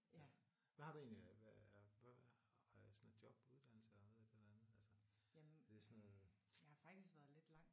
Hvad har du egentlig af hvad øh sådan et job uddannelse og et eller andet? Altså det er sådan noget